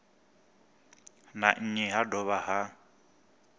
na nnyi ha dovha ha